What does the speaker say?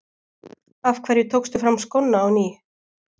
Af hverju tókstu fram skóna á ný?